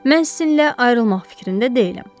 Mən sizinlə ayrılmaq fikrində deyiləm.